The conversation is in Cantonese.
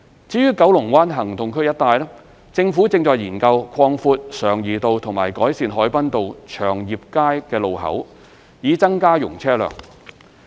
至於九龍灣行動區一帶，政府正研究擴闊常怡道和改善海濱道/祥業街路口，以增加容車量。